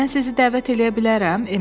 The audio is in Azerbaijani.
Mən sizi dəvət eləyə bilərəm?